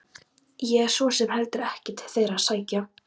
Ég hef svo sem heldur ekkert til þeirra að sækja.